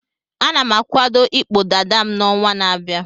Ana m akwado ịkpụ dada m n'ọnwa na-abịa.